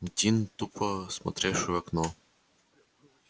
дин тупо смотревший в окно